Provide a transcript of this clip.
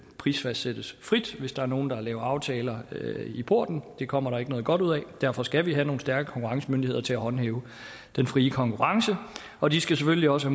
prisfastsættes frit hvis der er nogen der laver aftaler i porten det kommer der ikke noget godt ud af derfor skal vi have nogle stærke konkurrencemyndigheder til at håndhæve den frie konkurrence og de skal selvfølgelig også